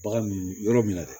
Bagan yɔrɔ min na dɛ